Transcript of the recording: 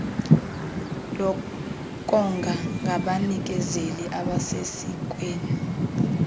lokonga ngabanikezeli abasesikweni